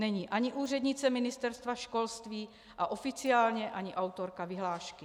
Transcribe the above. Není ani úřednice Ministerstva školství a oficiálně ani autorka vyhlášky.